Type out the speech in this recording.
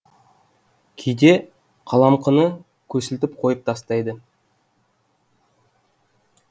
кейде қаламқыны көсілтіп қойып тастайды